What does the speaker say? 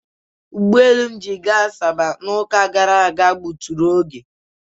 Ụgbọelu m ji gaa Asaba n'ụka gara aga.